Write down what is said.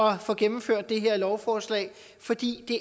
at få gennemført det her lovforslag fordi det